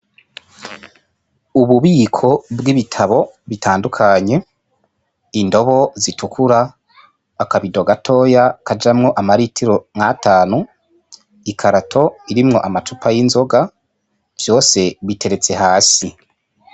Ububiko bw'ibitabo bitandukanye, indobo zitukura, akabido gatoya kajamwo amaritiro nk'atanu, ikarato irimwo amacupa y'inzoga, vyose biteretse hasi.